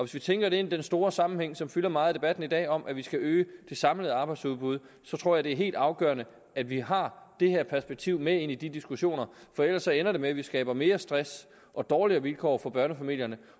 vi tænker det ind i den store sammenhæng som fylder meget i debatten i dag om at vi skal øge det samlede arbejdsudbud så tror jeg det er helt afgørende at vi har det her perspektiv med ind i de diskussioner for ellers ender det med at vi skaber mere stress og dårligere vilkår for børnefamilierne